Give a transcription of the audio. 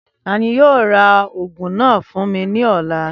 Tani yoo ra oogun naa fun mi ni ọla?